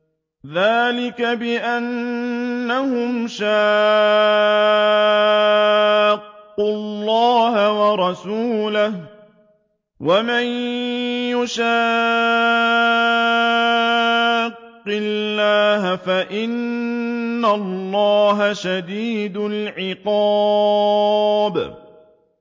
ذَٰلِكَ بِأَنَّهُمْ شَاقُّوا اللَّهَ وَرَسُولَهُ ۖ وَمَن يُشَاقِّ اللَّهَ فَإِنَّ اللَّهَ شَدِيدُ الْعِقَابِ